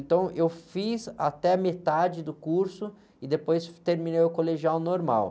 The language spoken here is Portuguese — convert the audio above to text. Então, eu fiz até a metade do curso e depois terminei o colegial normal.